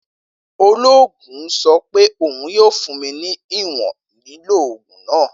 Oloogun sọ pe oun yoo fun mi ni iwọn lilo oogun naa.